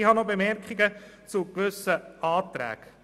Ich habe nun noch Bemerkungen zu gewissen Anträgen.